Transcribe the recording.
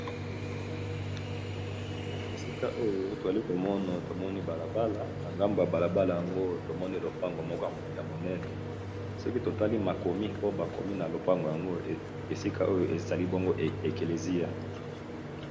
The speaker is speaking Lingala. Esika oyo tozali komona tomoni balabala na ngambo ya balabala yango tomoni lopango moko ya monene. Soki totali makomi oyo bakomi na lopango yango esika oyo ezali bongo eklesia.